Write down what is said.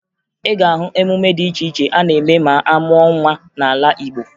Ị ga-ahụ emume dị iche iche a na-eme ma amụọ nwa n'ala Igbo